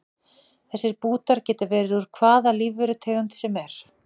Þessir bútar geta verið úr hvaða lífverutegund sem er.